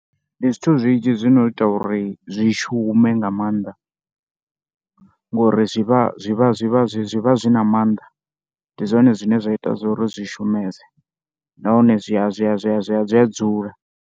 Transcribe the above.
Ndi zwithu zwinzhi zwi no ita uri zwi shume nga maanḓa ngori zwi vha zwi vha zwi vha zwi vha zwi na maanḓa ndi zwone zwine zwa ita uri zwi shumese nahone zwi a zwi a zwi a zwi a zwi a dzula.